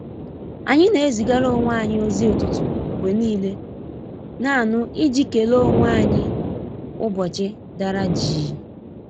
Anyị na ezịgara onwe anyi ozi ụtụtụ mgbe niile naanụ i ji kele onwe anyị ụbọchị dara jịị.